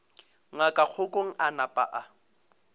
ngaka kgokong a napa a